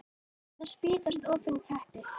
Orð hennar spýtast ofan í teppið.